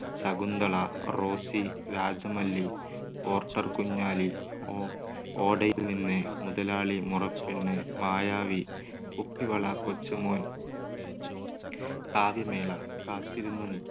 ശകുന്തള, റോസി, രാജമല്ലി, പോർട്ടർ കുഞ്ഞാലി, ഓ~ഓടയിൽ നിന്ന്, മുതലാളി, മുറപ്പെണ്ണ്, മായാവി, കുപ്പിവള, കൊച്ചുമോൻ, കാവ്യമേള, കാത്തിരുന്ന നി~